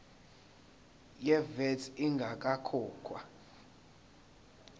ye vat ingakakhokhwa